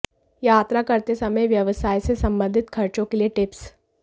यात्रा करते समय व्यवसाय से संबंधित खर्चों के लिए टिप्स